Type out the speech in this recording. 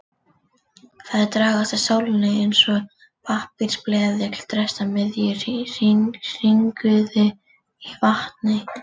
Þær dragast að sólinni eins og pappírsbleðill dregst að miðju hringiðu í vatni.